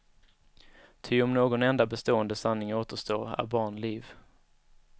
Ty om någon enda bestående sanning återstår, är barn liv.